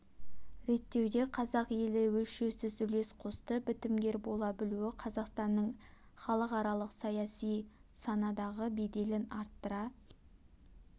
реттеуде қазақ елі өлшеусіз үлес қосты бітімгер бола білуі қазақстанның іалықаралық саяси саінадағы беделін арттыра